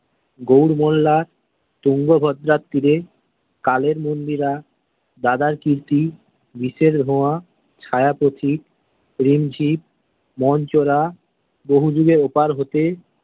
গৌড় মোল্লা, তুঙ্গ ভদ্রার তীরে, কালের মন্দিরা, দাদার কীর্তি, বিষের ধোঁয়া, ছায়া পথিক, রিমঝিম, মনচোরা, বহু যুগের ওপার হতে।